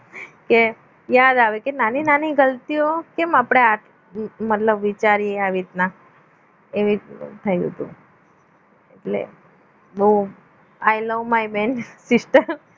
કે યાદ આવે કે નાની નાની ગલતીઓ કેમ આપણે આઠ મતલબ વિચારે આવી રીતના એવી થઈ હતી એટલે વો I love my બેન sister